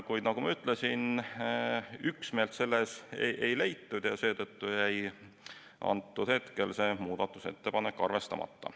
Kuid nagu ma ütlesin, üksmeelt selles ei leitud ja seetõttu jäi antud hetkel see muudatusettepanek arvestamata.